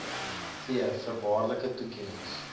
v voorwaardelike toekennings